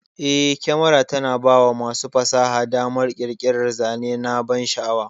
Eh, kyamara tana bawa masu fasaha damar ƙirƙirar zane na bansha'awa.